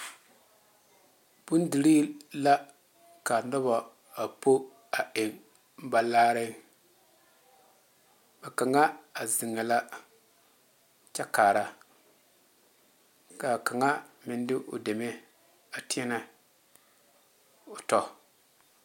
Bondire la ka noba a po a eŋ ba laare a kaŋa a zeŋe la kyɛ kaara kaa kaŋa meŋ de o deme a teɛne o tɔ.